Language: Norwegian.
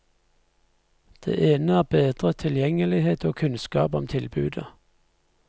Det ene er bedret tilgjengelighet og kunnskap om tilbudet.